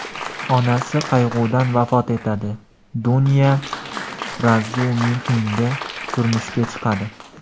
Onasi qayg‘udan vafot etadi, Dunya Razumixinga turmushga chiqadi.